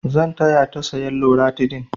Zan taya ta sayan loratidin.